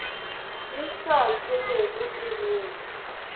e sa selego e bola